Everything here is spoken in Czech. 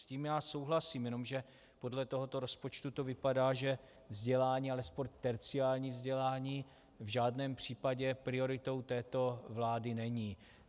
S tím já souhlasím, jenomže podle tohoto rozpočtu to vypadá, že vzdělání, alespoň terciární vzdělání, v žádném případě prioritou této vlády není.